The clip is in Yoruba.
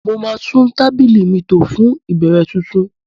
Mo máa tún tábìlì mi tò fún ìbẹ̀rẹ̀ tuntun